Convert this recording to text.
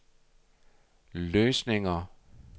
løsninger